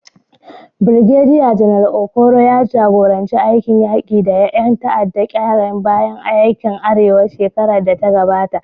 Birgediya Janar Okoro ya jagoranci aikin yaƙi da ƴan tada ƙayar baya a yankin Arewa a shekarar da ta gabata.